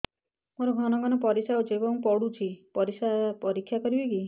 ମୋର ଘନ ଘନ ପରିସ୍ରା ହେଉଛି ଏବଂ ପଡ଼ୁଛି ପରିସ୍ରା ପରୀକ୍ଷା କରିବିକି